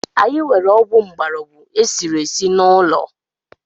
Anyị nwere ọgwụ mgborogwu e siri esi n’ụlọ